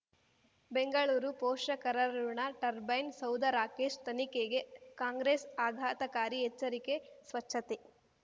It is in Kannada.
ಬೆಂಗಳೂರು ಪೋಷಕರಋಣ ಟರ್ಬೈನ್ ಸೌಧ ರಾಕೇಶ್ ತನಿಖೆಗೆ ಕಾಂಗ್ರೆಸ್ ಆಘಾತಕಾರಿ ಎಚ್ಚರಿಕೆ ಸ್ವಚ್ಛತೆ